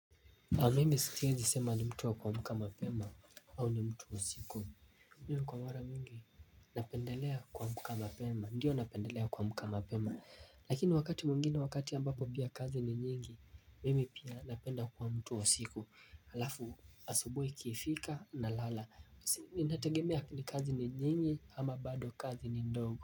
Aa mimi siwezi sema ni mtu wa kuamka mapema au ni mtu wa siku Ndiyo kwa mwara mingi napendelea kuamka mapema Ndio napendelea kuamka mapema Lakini wakati mwingine wakati ambapo pia kazi ni nyingi Mimi pia napenda kuwa mtu wa siku Halafu asubuhi ikifika na lala nategemea ni kazi ni nyingi ama bado kazi ni ndogo.